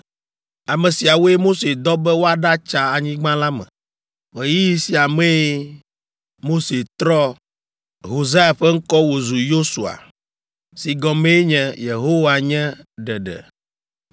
Ame siawoe Mose dɔ be woaɖatsa anyigba la me. Ɣeyiɣi sia mee (Mose trɔ Hosea ƒe ŋkɔ wòzu Yosua) si gɔmee nye “Yehowa nye Ɖeɖe.”